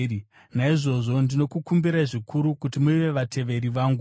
Naizvozvo ndinokukumbirai zvikuru kuti muve vateveri vangu.